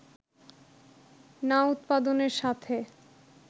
না উৎপাদনের সাথে